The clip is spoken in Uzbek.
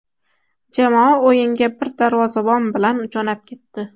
Jamoa o‘yinga bir darvozabon bilan jo‘nab ketdi.